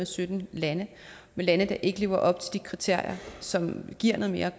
sytten lande lande der ikke lever op til de kriterier som giver noget mere